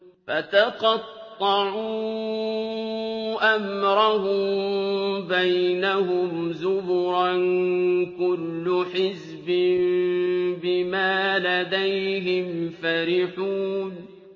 فَتَقَطَّعُوا أَمْرَهُم بَيْنَهُمْ زُبُرًا ۖ كُلُّ حِزْبٍ بِمَا لَدَيْهِمْ فَرِحُونَ